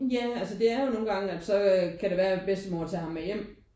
Ja altså det er jo nogen gange at så kan det være bedstemor tager ham med hjem